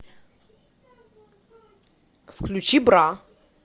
включи бра